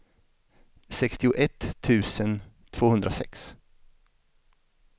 sextioett tusen tvåhundrasex